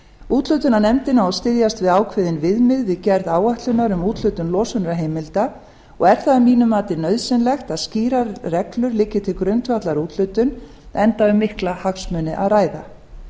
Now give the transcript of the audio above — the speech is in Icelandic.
úthlutunarnefndin á að styðjast við ákveðin viðmið við gerð áætlunar um úthlutun losunarheimilda og er það að mínu mati nauðsynlegt að skýrar reglur liggi til grundvallar úthlutun enda um mikla hagsmuni að ræða